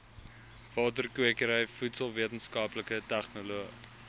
waterkwekery voedselwetenskaplikes tegnoloë